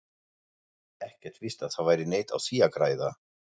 Ekkert víst að það væri neitt á því að græða.